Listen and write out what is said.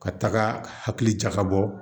Ka taga hakili jakabɔ